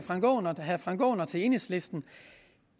herre frank aaen og enhedslisten